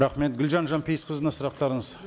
рахмет гүлжан жанпейісқызына сұрақтарыңыз